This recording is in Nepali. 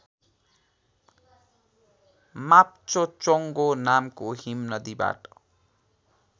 माप्चोचोङ्गो नामको हिमनदीबाट